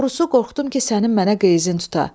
Doğrusu qorxdum ki, sənin mənə qəyzin tuta.